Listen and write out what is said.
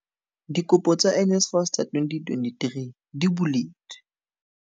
Dikopo tsa NSFAS tsa 2023 di buletswe.